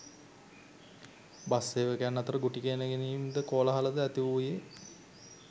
bus සේවකයන් අතර ගුටි ඇන ගැනීම්ද කෝලාහලද ඇතිවූයේ